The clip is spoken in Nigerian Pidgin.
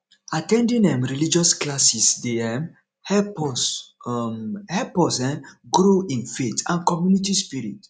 at ten ding um religious classes dey um help us um help us um grow in faith and community spirit